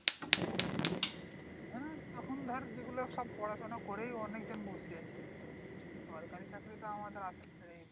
হ্যাঁ তখন ধর যেগুলো সব পড়াশোনা করেই অনেকজন বসে আছে। সরকারি চাকরি তো আমাদের আশা ছেড়েই দে।